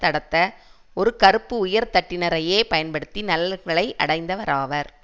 நடத்த ஒரு கறுப்பு உயர்தட்டினரையே பயன்படுத்தி நலன்களை அடைந்தவராவார்